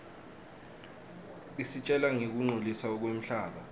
isitjela ngekungcoliswa kwemhlaba